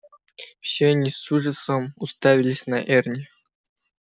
все они с ужасом уставились на эрни